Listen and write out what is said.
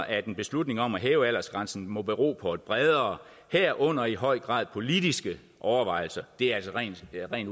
at en beslutning om at hæve aldersgrænsen må bero på bredere herunder i høj grad politiske overvejelser det er altså rent